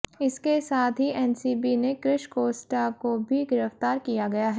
इसके साथ ही एनसीबी ने क्रिश कोस्टा को भी गिरफ्तार किया गया है